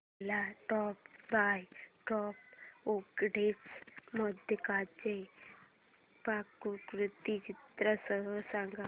मला step by step उकडीच्या मोदकांची पाककृती चित्रांसह सांग